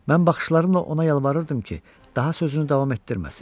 Mən baxışlarımla ona yalvarırdım ki, daha sözünü davam etdirməsin.